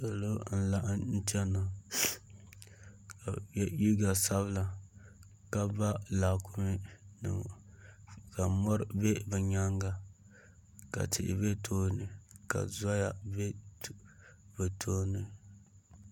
Salo n laɣim chena ka ye liiga sabila ka ba laakumi nima ka mori be bɛ nyaanga ka tihi be tooni ka zoya be bɛ tooni.